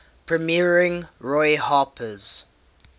premiering roy harper's